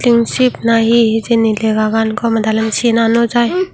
tengsip na hi hijeni lega gan gomey dalen sina naw jai.